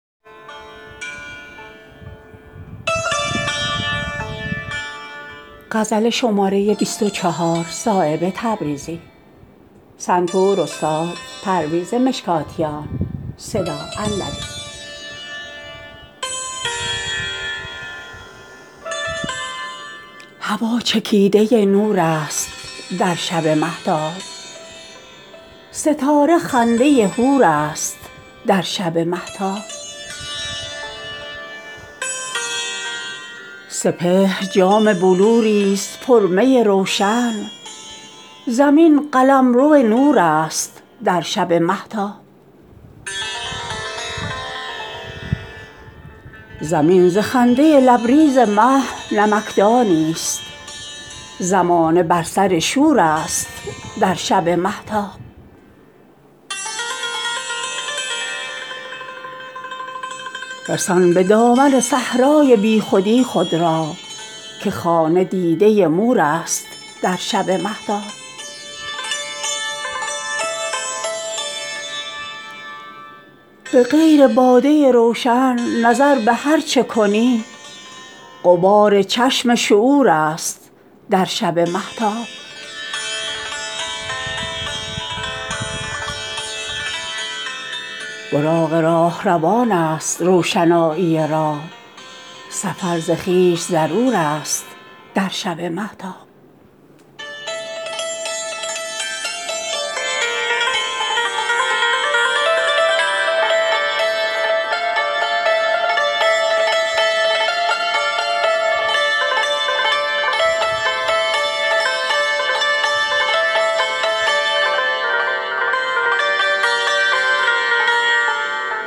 هوا چکیده نورست در شب مهتاب ستاره خنده حورست در شب مهتاب سپهر جام بلوری است پر می روشن زمین قلمرو نورست در شب مهتاب صراحی می گلرنگ سرو سیمینی است پیاله غبغب حورست در شب مهتاب زمین ز خنده لبریز مه نمکدانی است زمانه بر سر شورست در شب مهتاب رسان به دامن صحرای بیخودی خود را که خانه دیده مورست در شب مهتاب می شبانه کز او روز عقل شد تاریک تمام نور حضورست در شب مهتاب ز خویش پاک برون آ که مغز خشک زمین تر از شراب طهورست در شب مهتاب به غیر باده روشن نظر به هر چه کنی غبار چشم شعورست در شب مهتاب براق راهروان است روشنایی راه سفر ز خویش ضرورست در شب مهتاب به هر طرف که نظر باز می کنم صایب تجلیات ظهورست در شب مهتاب